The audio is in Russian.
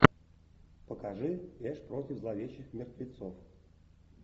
покажи эш против зловещих мертвецов